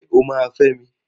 Ṣé o máa fẹ́ mi?